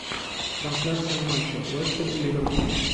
трансляция матча лестер и ливерпуль